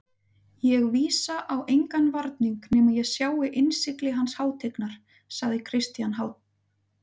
Ég vísa á engan varning nema ég sjái innsigli hans hátignar, sagði Christian háðslega.